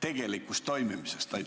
tegelikust toimimisest?